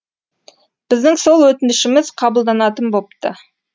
біздің сол өтінішіміз қабылданатын бопты